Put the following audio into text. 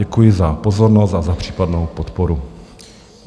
Děkuji za pozornost a za případnou podporu.